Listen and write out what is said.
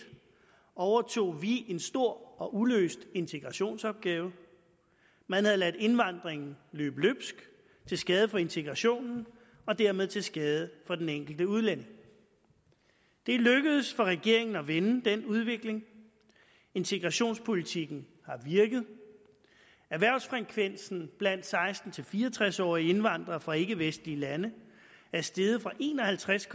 overtog vi en stor og uløst integrationsopgave man havde ladet indvandringen løbe løbsk til skade for integrationen og dermed til skade for den enkelte udlænding det er lykkedes for regeringen at vende den udvikling integrationspolitikken har virket erhvervsfrekvensen blandt seksten til fire og tres årige indvandrere fra ikkevestlige lande er steget fra en og halvtreds